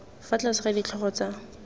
fa tlase ga ditlhogo tsa